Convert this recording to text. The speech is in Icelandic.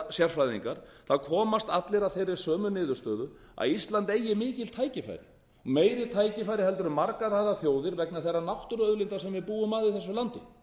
sérfræðingar það komast allir að sömu niðurstöðu að ísland eigi mikil tækifæri og meiri tækifæri heldur en margar aðrar þjóðir vegna þeirra náttúruauðlinda sem við búum að í þessu landi